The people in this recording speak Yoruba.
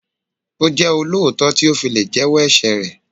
Ó jẹ́ olóòótọ́ tí ó fi lè jẹ́ wọ́ ẹ̀ṣẹ̀ rẹ̀.